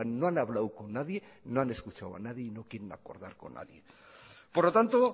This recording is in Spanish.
no han hablado con nadie no han escuchado a nadie y no quieren acordar con nadie por lo tanto